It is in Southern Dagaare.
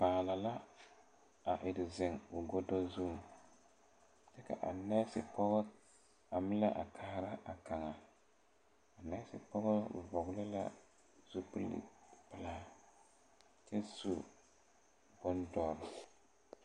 Kpaana la a ire ziŋ o godo zu kaa nɛɛsi pɔgɔ a mile are kaara a nɛɛsi pɔge vɔgle zupile pilaa kyɛ su boŋ dɔre.